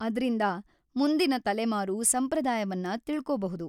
ಅದ್ರಿಂದ ಮುಂದಿನ ತಲೆಮಾರೂ ಸಂಪ್ರದಾಯವನ್ನ ತಿಳ್ಕೋಬಹುದು.